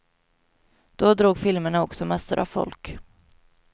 Då drog filmerna också massor av folk.